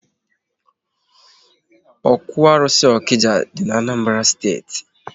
Ókwú arụsị Okija dị n'Anambra steeti